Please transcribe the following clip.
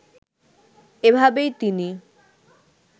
এভাবেই তিনি